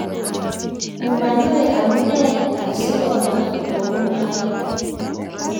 mumanoe amune asikomwa kou noe